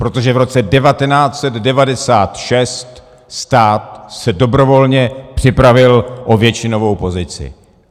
Protože v roce 1996 stát se dobrovolně připravil o většinovou pozici.